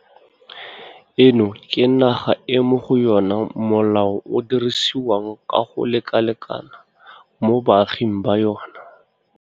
Eno ke naga e mo go yona molao o dirisiwang ka go lekalekana mo baaging ba yona.